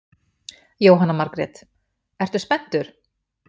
Jóhanna Margrét: Ertu spenntur?